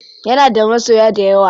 Yana da masoya dayawa.